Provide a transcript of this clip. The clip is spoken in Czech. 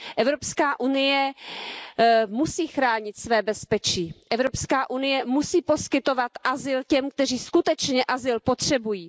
Evropská unie musí chránit své bezpečí, Evropská unie musí poskytovat azyl těm, kteří skutečně azyl potřebují.